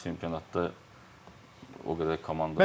Amma çempionatda o qədər komanda yoxdur.